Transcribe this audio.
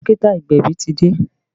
Dókítà agbẹ̀bí ti dé